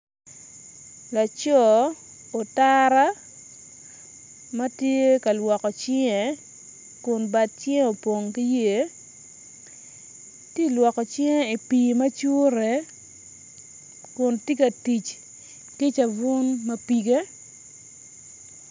Laco utara ma tye ka lwoko cinge kun bad cinge opong ki yer ti ilwoko cinge i pii macure kun ti ka tic ki cavun mapige